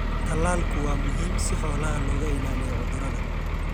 Tallaalku waa muhiim si xoolaha looga ilaaliyo cudurrada.